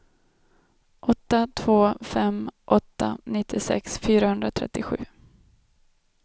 åtta två fem åtta nittiosex fyrahundratrettiosju